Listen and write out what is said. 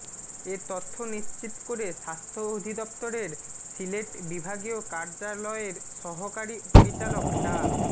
এ তথ্য নিশ্চিত করে স্বাস্থ্য অধিপ্তরের সিলেট বিভািগীয় কার্যারয়ের সহকারি পরিচালক ডা